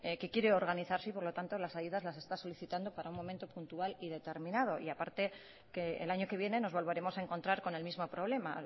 que quiere organizarse y por lo tanto las ayudas las está solicitando para un momento puntual y determinado y a parte que el año que viene nos volveremos a encontrar con el mismo problema